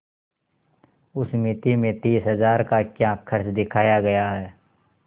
उस मिती में तीस हजार का क्या खर्च दिखाया गया है